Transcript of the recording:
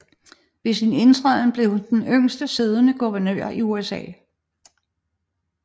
Ved sin indtræden blev hun den yngste siddende guvernør i USA